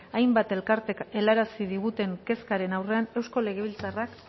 hainbat elkarteek helarazi diguten kezkaren aurrean eusko legebiltzarrak